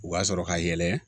U b'a sɔrɔ ka yɛlɛ